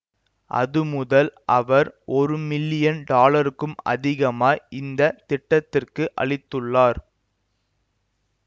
அதுமுதல் அவர் ஒரு மில்லியன் டாலருக்கும் அதிகமாய் இந்த திட்டத்திற்கு அளித்துள்ளார்